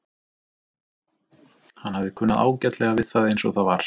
Hann hafði kunnað ágætlega við það eins og það var.